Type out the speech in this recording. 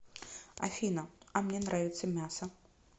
афина а мне нравится мясо